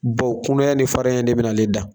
Bawo kunaya ni farinya in de bɛ na ale dan